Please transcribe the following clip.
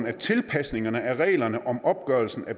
at tilpasningen af reglerne om opgørelse af